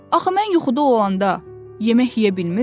Axı mən yuxuda olanda yemək yeyə bilmirəm.